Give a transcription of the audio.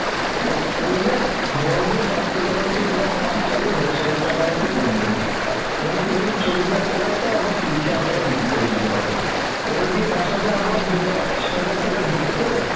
কর করলে বড়জোর তোমার তার থেকে হয়ত পাঁচ থেকে দশ হাজার টাকার মতো কমবে কমলে তুমি চল্লিশ হাজার টাকার টা তিরিশ হাজার টাকায় বিক্রি করে দিতে পারবে, করে দিয়ে তার সাথে আবার দু-পাঁচ হাজার টাকা যোগ করে